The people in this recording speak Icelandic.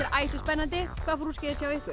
æsispennandi hvað fór úrskeiðis hjá ykkur